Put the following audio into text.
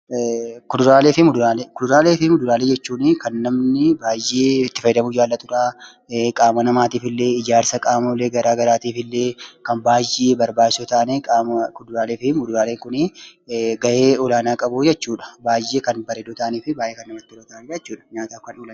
Kuduraalee fi muduraalee. Kuduraalee fi muduraalee jechuun kan namni baayyee itti fayyadamuu jaallatuu dha. Ijaarsa qaama namaatiif kan baayyee barbaachisaa ta'anii dha. Kanaaf kuduraalee fi muduraaleen kun ga'ee olaanaa qabu jechuu dha. Baayyee kan bareedoo ta'anii fi nyaataaf kan oolanii dha.